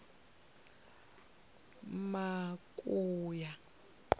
makuya